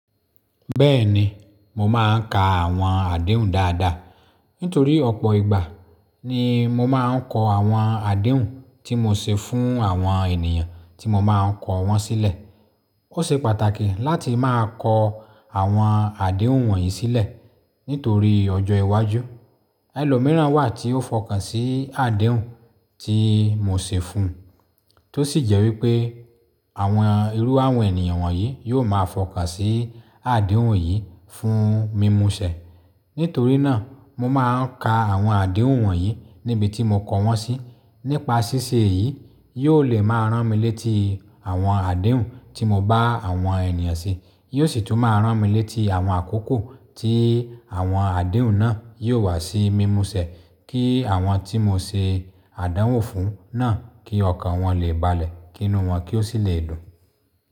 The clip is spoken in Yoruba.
Bẹ́ẹ̀ni, mo máa ń ka àwọn àdéhùn dáadáa. Nítorí ọ̀pọ̀ ìgbà ni mo máa ń kọ àwọn àdéhùn tí mo ṣe fún àwọn ènìyàn tí mo máa ń kọ wọ́n sílẹ̀. Ó ṣe pàtàkì láti máa kọ àwọn àdéhùn wọ̀nyí sílẹ̀ nítorí ọjọ́ iwájú. Ẹ̀lọ́ mìíràn wà tí ó fọkàn sí àdéhùn tí mo ṣe fún, tó sì jẹ́ wípé àwọn irú àwọn ènìyàn wọ̀nyí yóò máa fọkàn sí àdéhùn yìí fún mímuṣẹ. Nítorí náà, mo máa ń ka àwọn àdéhùn wọ̀nyí níbi tí mo kọ wọ́n sí. Nípa ṣíṣe yìí, yóò lè máa rán mi létí àwọn àdéhùn tí mo bá àwọn ènìyàn ṣe. Yóò sì tún máa rán mi létí àwọn àkókò tí àwọn àdéhùn náà yóò wá sí mímuṣẹ kí àwọn tí mo ṣe àdánwò fún náà kí ọkàn wọn lè balẹ̀ kinu wọn kí ó sì lè dùn.